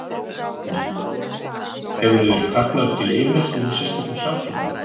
Guðný: Hefurðu verið kallaður til yfirheyrslu hjá sérstökum saksóknara?